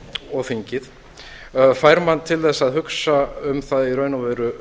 og þingið fær mann til að hugsa um það í raun og veru